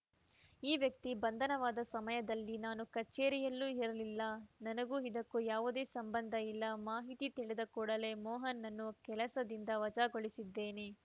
ಈ ವ್ಯಕ್ತಿ ಬಂಧನವಾದ ಸಮಯದಲ್ಲಿ ನಾನು ಕಚೇರಿಯಲ್ಲೂ ಇರಲಿಲ್ಲ ನನಗೂ ಇದಕ್ಕೂ ಯಾವುದೇ ಸಂಬಂಧ ಇಲ್ಲ ಮಾಹಿತಿ ತಿಳಿದ ಕೂಡಲೇ ಮೋಹನ್‌ನನ್ನು ಕೆಲಸದಿಂದ ವಜಾಗೊಳಿಸಿದ್ದೇನೆ